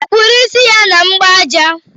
Ọ kụrụ isi ya na mgbaja?